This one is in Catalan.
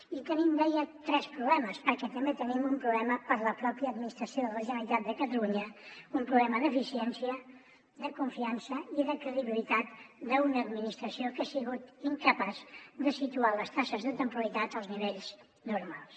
i tenim deia tres problemes perquè també tenim un problema per la mateixa administració de la generalitat de catalunya un problema d’eficiència de confiança i de credibilitat d’una administració que ha sigut incapaç de situar les taxes de temporalitat als nivells normals